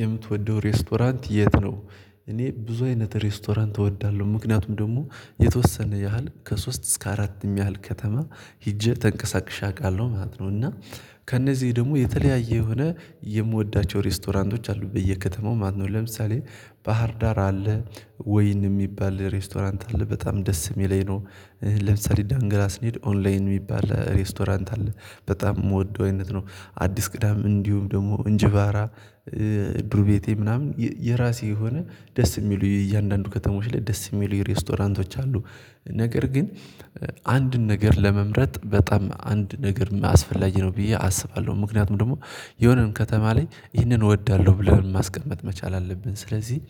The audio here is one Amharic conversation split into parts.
የምትወደው ሬስቶራንት የት ነው? እኔ ብዙ አይነት ሬስቶራንት እወዳለሁ ምክንያቱም ደግሞ የተወሰነ ያህል ከሶስት እስከ አራትም ያህል ከተማ ሂጄ ተንቀሳቅሼ አውቃለሁ ማለት ነው እና ከእነዚህ ደግሞ የተለያየ የሆነ የምወዳቸው ሬስቶራንቶች አሉ በየከተማው ማነው ለምሳሌ ባህር ዳር አለ ወይን የሚባል ሬስቶራንት አለ በጣም ደስ የሚለኝ ነው ለምሳሌ ዳንግላ ስንሄድ ኦንላይን የሚባል ሬስቶራንት አለ በጣም የምወደው አይነት ነው አዲስ ቅዳም እንዲሁም ደግሞ እንጅባራ ድሩቤቴ ምናምን የራሴ የሆነ ደስ የሚሉ የእያንዳንዱ ከተሞች ላይ ደስ የሚሉ የሬስቶራንቶች አሉ። ነገር ግን አንድን ነገር ለመምረጥ በጣም አንድ ነገርም አስፈላጊ ነው ብዬ አስባለሁ ምክንያቱም ደግሞ የሆነም ከተማ ላይ ይህንን እወዳለሁ ብለን ማስቀመጥ መቻል አለብን ስለዚህ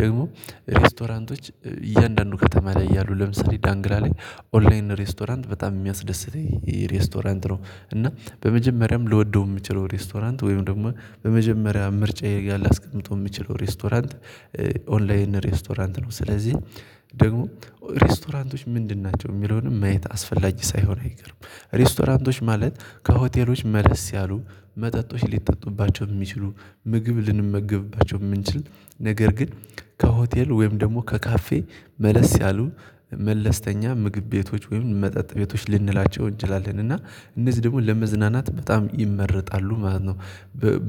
ደግሞ ሬስቶራንቶች እያንዳንዱ ከተማ ላይ ያሉ ለምሳሌ ዳንግላ ላይ ኦንላይን ሬስቶራንት በጣም የሚያስደስተኝ ሬስቶራንት ነው እና በመጀመሪያም ልወደው የምችለው ሬስቶራንት ወይም ደግሞ በመጀመሪያ ምርጫዬ ላይ ላስቀምጠው የምችለው ሬስቶራንት ኦንላይን ሬስቶራንት ነው፣ ስለዚህ ደግሞ ሬስቶራንቶች ምንድን ናቸው የሚለውንም ማየት አስፈላጅ ሳይሆን አይቀርም ሬስቶራንቶች ማለት ከሆቴሎች መልስ ያሉ መጠጦች ሊጠጡባቸው የሚችሉ ምግብ ልንመገብባቸው የምንችል ነገር ግን ከሆቴል ወይም ደግሞ ከካፌ መለስ ያሉ መለስተኛ ምግብ ቤቶች ወይም መጠጥ ቤቶች ልንላቸው እንችላለን እና እነዚህ ደግሞ ለመዝናናት በጣም ይመረጣሉ ማለት ነው።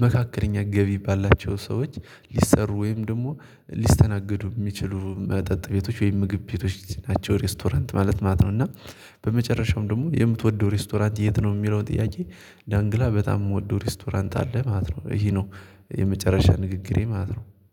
መካከለኛ ገቢ ባላቸው ሰዎች ሊሰሩ ወይም ደግሞ ሊስተናገዱ የሚችሉ መጠጥ ቤቶች ወይም ምግብ ቤቶች ናቸው ሬስቶራንት ማለት ማለት ነው። እና በመጨረሻውም ደግሞ የምትወደው ሬስቶራንት የት ነው የሚለው ጥያቄ ዳንግላ በጣም የምወደው ሬስቶራንት አለ ማለት ነው ይሄ ነው የመጨረሻ ንግግሬ ማለት ነው።